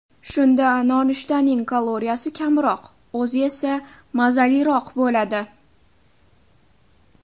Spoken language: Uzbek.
Shunda nonushtaning kaloriyasi kamroq, o‘zi esa mazaliroq bo‘ladi.